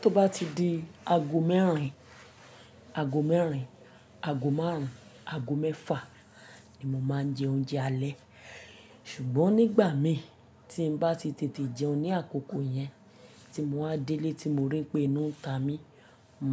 Tó bá ti di ago mẹ́rin, ago mẹ́rin, ago márùn ún, ago mẹ́fà ni mo máa ń jẹ oúnjẹ alẹ́. Ṣùgbọ́n nígbà mi tí n bá ti tètè jẹun ní àkókò yẹn tí mo wá délé tí mo rí pé inu ń ta mi,